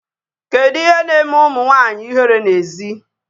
Kedu ihe na-eme ụmụ nwanyị ihere n'èzí?